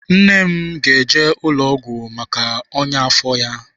Nne m ga-eje ụlọ ọgwụ maka ọnyá afọ ya.